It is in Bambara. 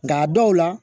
Nka a dɔw la